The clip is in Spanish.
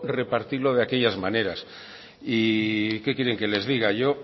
repartirlo de aquellas maneras y qué quieren que les diga yo